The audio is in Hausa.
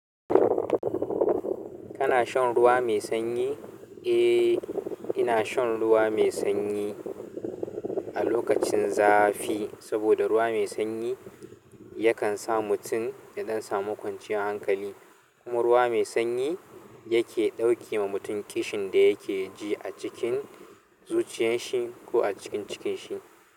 Kana shan ruwa mai sanyi? Eh, ina shan ruwa mai sanyi a lokacin zafi saboda ruwa mai sanyi yakan sa mutum ya ɗan samu kwanciyar hankali. Kuma ruwa mai sanyi yake ɗauke wa mutum kishin da yake ji a cikin zuciyanshi ko a cikin cikin shi.